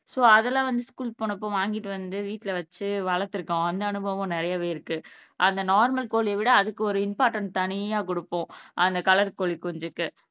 so, அதெல்லாம் வந்து ஸ்கூல்க்கு போனப்ப வாங்கிட்டு வந்து வீட்ல வச்சு வளர்த்துருக்கோம் அந்த அனுபவம் நிறையவே இருக்கு அந்த நார்மல் கோழியவிட அதுக்கு ஒரு இம்பார்ட்டன்ட் தனியா குடுப்போம் அந்த கலர் கோழிகுஞ்சுக்கு